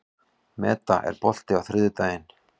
Meda, er bolti á þriðjudaginn?